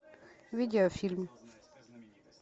видеофильм